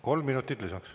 Kolm minutit lisaks.